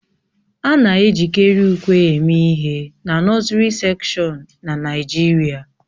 A na-ejikarị ùkwè eme ihe na nọsiri sekshọn na Naịjirịa